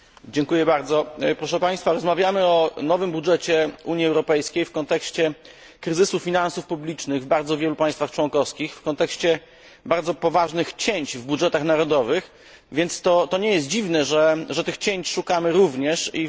Rozmawiamy o nowym budżecie Unii Europejskiej w kontekście kryzysu finansów publicznych w bardzo wielu państwach członkowskich, w kontekście bardzo poważnych cięć w budżetach narodowych, więc nie jest dziwne, że tych cięć szukamy również i w budżecie unijnym.